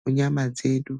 mu nyama dzedu.